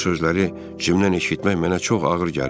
Bu sözləri Cimdən eşitmək mənə çox ağır gəlirdi.